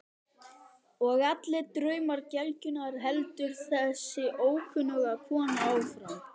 Og allir draumar gelgjunnar, heldur þessi ókunna kona áfram.